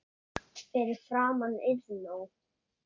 Fyrir framan Iðnó.